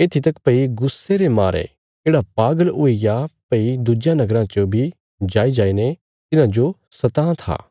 येत्थी तक भई गुस्से रे मारे येढ़ा पागल हुईग्या भई दुज्यां नगराँ च बी जाईजाईने तिन्हांजो सतां था